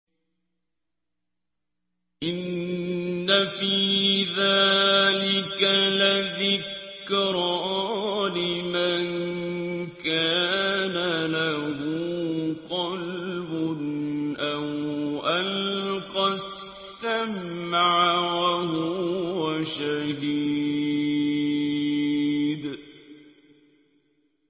إِنَّ فِي ذَٰلِكَ لَذِكْرَىٰ لِمَن كَانَ لَهُ قَلْبٌ أَوْ أَلْقَى السَّمْعَ وَهُوَ شَهِيدٌ